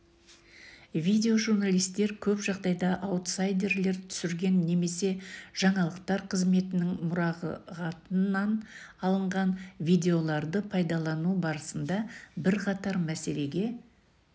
видео-журналистер көп жағдайда аутсайдерлер түсірген немесе жаңалықтар қызметінің мұрағатынан алынған видеоларды пайдалану барысында бірқатар мәселеге